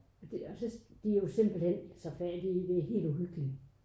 Men det også lidt de jo simpelthen så fattige det helt uhyggeligt